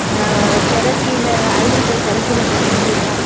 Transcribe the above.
அஅ திரசீல ivory colour திரசீல கொண்டு மூடி இருக்காங்க.